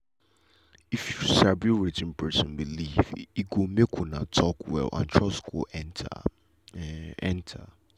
if you sabi wetin person believe e go make una talk well and trust go enter. enter.